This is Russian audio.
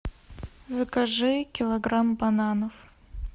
закажи килограмм бананов